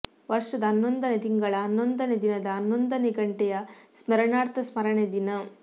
ವರ್ಷದ ಹನ್ನೊಂದನೇ ತಿಂಗಳ ಹನ್ನೊಂದನೇ ದಿನದ ಹನ್ನೊಂದನೇ ಘಂಟೆಯ ಸ್ಮರಣಾರ್ಥ ಸ್ಮರಣೆ ದಿನ